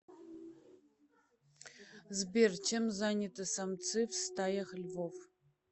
сбер чем заняты самцы в стаях львов